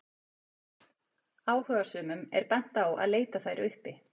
Áhugasömum er bent á að leita þær uppi.